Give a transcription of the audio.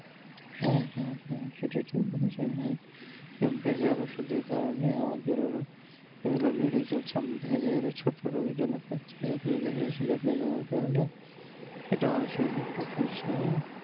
হ্যাঁ হ্যাঁ হ্যাঁ সেটা হ্যাঁ রোগ বালাই ও ওষুধের কারণে আমাদের আরো এই গুলো বেড়েই চলেছে ধীরে ধীরে ছোট রোগের জন্য দেখা যাচ্ছে রোগের কারণে এটা আমাদের শরীরে প্রবেশ করছে